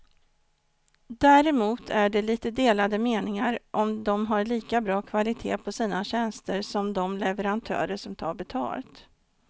Däremot är det lite delade meningar om de har lika bra kvalitet på sina tjänster som de leverantörer som tar betalt.